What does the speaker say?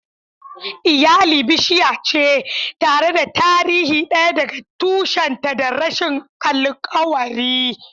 Iyali bishiya ce, tare da tarihi ɗaya daga tushenta da rassan alkawari.